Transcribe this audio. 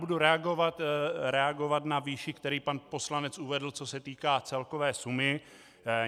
Budu reagovat na výši, kterou pan poslanec uvedl, co se týká celkové sumy.